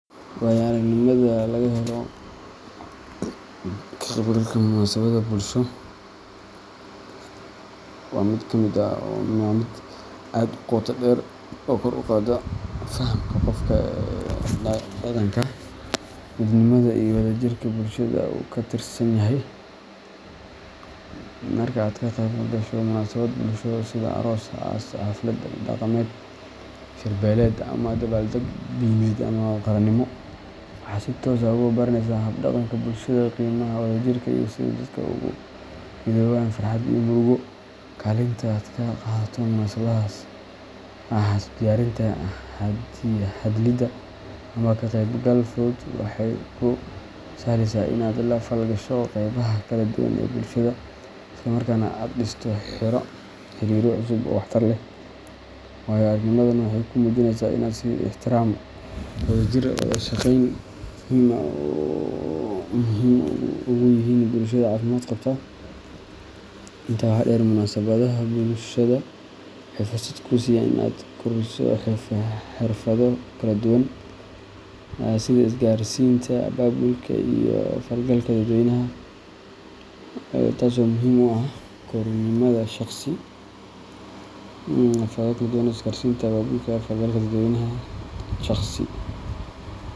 Waayo-aragnimada laga helo ka qeybgalka munaasabadaha bulshada waa mid aad u qoto dheer oo kor u qaadda fahamka qofka ee dhaqanka, midnimada, iyo wadajirka bulshada uu ka tirsanyahay. Marka aad ka qeyb gasho munaasabad bulsho sida aroos, aas, xaflad dhaqameed, shir-beeleed, ama dabaaldeg diimeed ama qaranimo, waxaad si toos ah u baranaysaa hab-dhaqanka bulshada, qiimaha wadajirka, iyo sida dadku ugu midoobaan farxad iyo murugo. Kaalinta aad ka qaadato munaasabadahaas—ha ahaato diyaarinta, ka hadlidda, ama ka qeybgal fudud—waxay kuu sahlaysaa in aad la falgasho qaybaha kala duwan ee bulshada, isla markaana aad dhisto xiriirro cusub oo waxtar leh. Waayo-aragnimadan waxay kuu muujinaysaa sida is-ixtiraamka, wadajirka, iyo wada-shaqeyntu muhiim ugu yihiin bulshada caafimaad qabta. Intaa waxaa dheer, munaasabadaha bulshada waxay fursad kuu siiyaan in aad kobciso xirfado kala duwan sida isgaarsiinta, abaabulka, iyo la falgalka dadweynaha, taas oo muhiim u ah korriimadaada shakhsi.